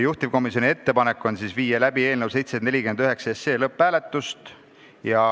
Juhtivkomisjoni ettepanek on viia läbi eelnõu 749 lõpphääletus.